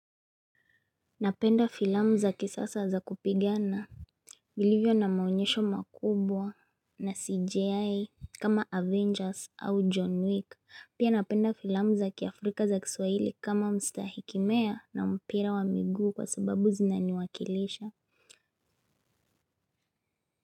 Napenda filamu za kisasa za kupigana vilivyo na maonyesho makubwa na CJI kama Avengers au John Wick. Pia napenda filamu za kiafrika za kiswahili kama mstahiki mea na mpira wa miguu kwa sababu zinaniwakilisha.